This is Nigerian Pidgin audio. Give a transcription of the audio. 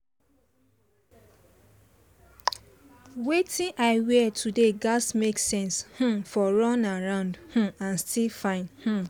wetin i wear today gatz make sense um for run around um and still fine um